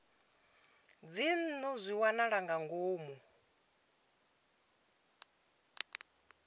dzinnu zwi wanala nga ngomu